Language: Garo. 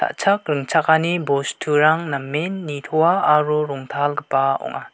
ringchakani bosturang namen nitoa aro rongtalgipa ong·a.